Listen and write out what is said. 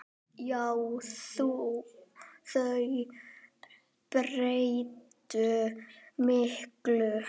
Já, þau breyttu miklu.